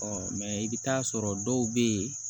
mɛ i bɛ taa sɔrɔ dɔw bɛ yen